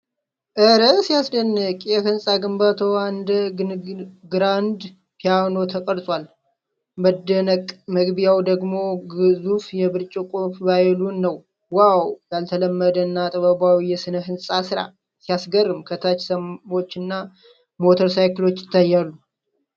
ኧረ ሲያስደንቅ! የሕንፃ ግንባታው እንደ ግራንድ ፒያኖ ተቀርጿል። መደነቅ። መግቢያው ደግሞ ግዙፍ የብርጭቆ ቫዮሊን ነው። ዋው! ያልተለመደ እና ጥበባዊ የስነ-ህንፃ ስራ። ሲያስገርም! ከታች ሰዎችና ሞተር ሳይክሎች ይታያሉ።